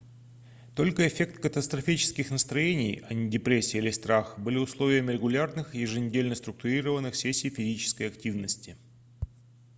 только эффект катастрофических настроений а не депрессия или страх были условием регулярных еженедельно структурированных сессий физической активности